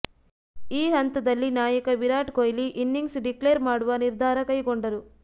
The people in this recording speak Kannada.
ಈ ಹಂತದಲ್ಲಿ ನಾಯಕ ವಿರಾಟ್ ಕೊಹ್ಲಿ ಇನಿಂಗ್ಸ್ ಡಿಕ್ಲೇರ್ ಮಾಡುವ ನಿರ್ಧಾರ ಕೈಗೊಂಡರು